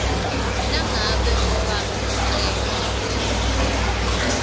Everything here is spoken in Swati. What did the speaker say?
nangabe ufaka sicelo